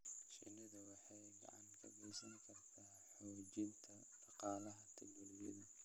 Shinnidu waxay gacan ka geysan kartaa xoojinta dhaqaalaha tuulooyinka.